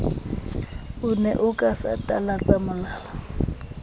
ne o ka satalatsa molala